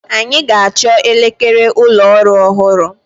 Anyị ga-achọ elekere ụlọ ọrụ ọhụrụ.